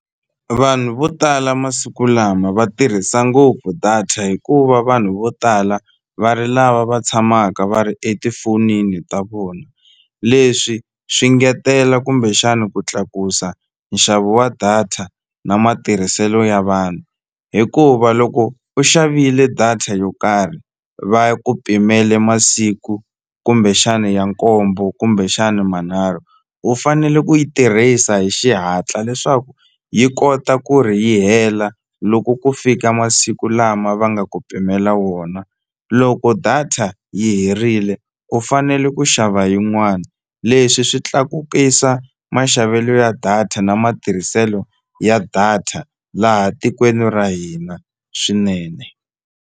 Vanhu vo tala masiku lama va tirhisa ngopfu data hikuva vanhu vo tala va ri lava va tshamaka va ri etifonini ta vona leswi swi ngetela kumbexani ku tlakusa nxavo wa data na matirhiselo ya vanhu hikuva loko u xavile data yo karhi va ku pimele masiku kumbexani ya nkombo kumbexani manharhu u fanele ku yi tirhisa hi xihatla leswaku yi kota ku ri yi hela loko ku fika masiku lama va nga ku pimela wona loko data yi herile u fanele ku xava yin'wani leswi swi tlakukisa maxavelo ya data na matirhiselo ya data laha tikweni ra hina swinene.